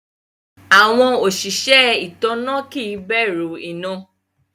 Awọn osìsẹ̀ itánná kí n bẹ̀rù iná.